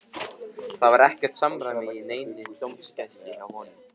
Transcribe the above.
Það var ekkert samræmi í neinni dómgæslu hjá honum.